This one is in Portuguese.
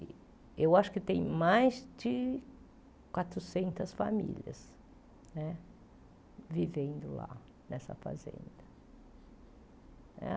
E eu acho que tem mais de quatrocentas famílias né vivendo lá nessa fazenda né.